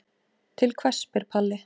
Til hvers spyr Palli.